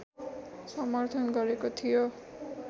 समर्थन गरेको थियो